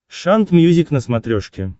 шант мьюзик на смотрешке